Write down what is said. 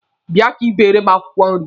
Bia ka ị beere m akwụkwọ nri!